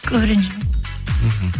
көп ренжімеймін мхм